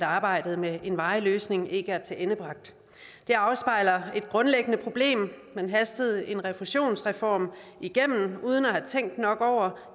arbejdet med en varig løsning ikke er tilendebragt det afspejler et grundlæggende problem man hastede en refusionsreform igennem uden at have tænkt nok over